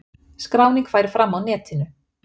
Skráning færi fram á Netinu.